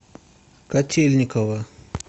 котельниково